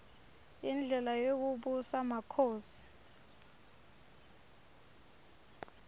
indlela yekubusa kwmakhosi